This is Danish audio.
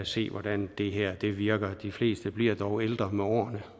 se hvordan det her virker de fleste bliver dog ældre med årene